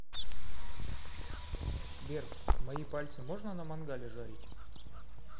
сбер мои пальцы можно на мангале жарить